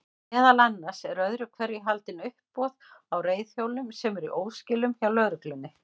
Meðal annars eru öðru hverju haldin uppboð á reiðhjólum sem eru í óskilum hjá lögreglunni.